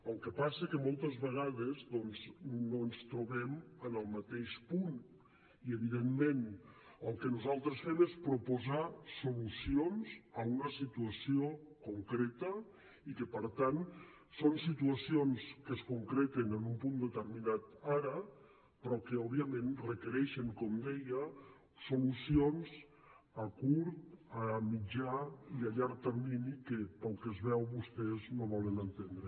el que passa que moltes vegades doncs no ens trobem en el mateix punt i evidentment el que nosaltres fem és proposar solucions a una situació concreta i que per tant són situacions que es concreten en un punt determinat ara però que òbviament requereixen com deia solucions a curt a mitjà i a llarg termini que pel que es veu vostès no volen entendre